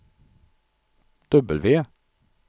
W